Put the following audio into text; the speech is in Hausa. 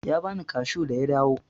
Ya bani kashu da ya dawo.